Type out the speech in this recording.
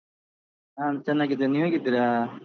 ನಾನು ಚೆನ್ನಾಗಿದ್ದೆನೆ, ನೀವು ಹೇಗಿದ್ದೀರಾ?